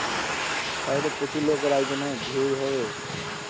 তাহলে তো প্রচুর লোকের আয়োজন ও ভিড় হবে